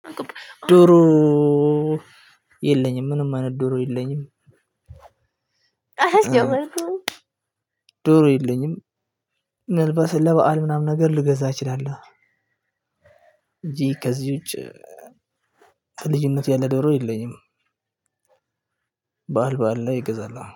ዶሮ የለኝም ምንም አይነት ዶሮ የለኝም። ዶሮ የለኝም። ለበአል ምናምን ነገር ልገዛ እችላለሁ እንጂ ከዚህ ውጪ ከልጅነት ያለ ዶሮ የለኝም። በዓል በዓል ላይ እገዛለሁ።